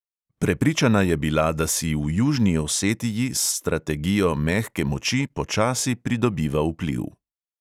Prepričana je bila, da si v južni osetiji s strategijo mehke moči počasi pridobiva vpliv.